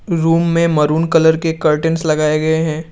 Room में maroon colour के curtains लगाए गए हैं।